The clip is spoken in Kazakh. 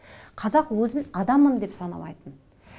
қазақ өзін адаммын деп санамайтын